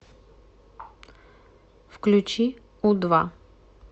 включи у два